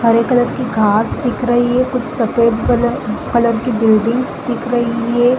हरे colour की घास दिख रही है कुछ सफ़ेद कलर कलर की बिल्डिंग्स दिख रही हैं ।